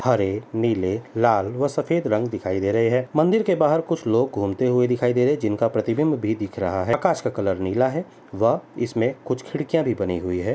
हरे नीले लाल व सफेद रंग दिखाई दे रहे हैं। मंदिर के बाहर कुछ लोग घूमते हुए दिखाई दे रहे हैं जिसका प्रतिबिम्ब भी दिख रहा है आकाश का कलर नीला है व इसमे कुछ खिड़कियां भी बनी हुई हैं।